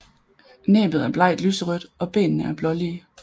Næbbet er blegt lyserødt og benene er blålige